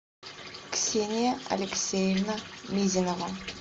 ксения алексеевна мизинова